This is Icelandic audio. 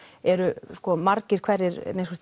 eru margir hverjir